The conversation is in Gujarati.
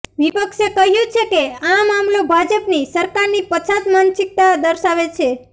વિપક્ષે કહ્યું છે કે આ મામલો ભાજપની સરકારની પછાત માનસિકતા દર્શાવે છે